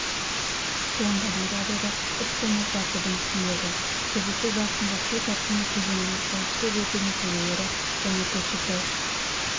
туындаған жағдайда іс-қимыл тәртібін түсіндірді кездесу барысында су тасқыны кезеңінің қауіпсіз өту мәселелері және көкшетау